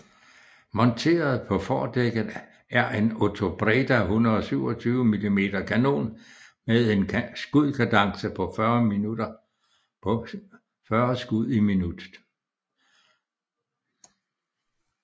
Monteret på fordækket er en Otobreda 127 mm kanon men en skudkadence på 40 skud i minuttet